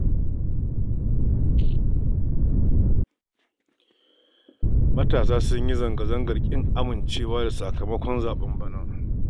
Matasa sun yi zanga-zangar ƙin amincewa da sakamakon zaɓen bana